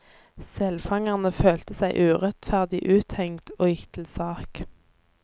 Selfangerne følte seg urettferdig uthengt, og gikk til sak.